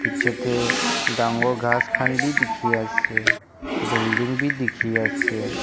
Chetey dangor khass khan beh dekhe ase belding beh dekhe ase.